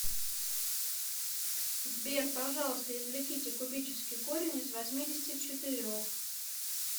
сбер пожалуйста извлеките кубический корень из восьмидесяти четырех